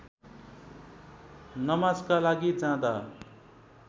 नमाजका लागि जाँदा